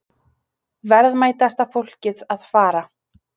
Verðmætasta fólkið að fara